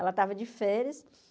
Ela estava de férias.